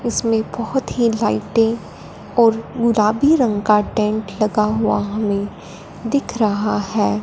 इसमें बहोत ही लाइटें और गुलाबी रंग का टेंट लगा हुआ हमें दिख रहा हैं।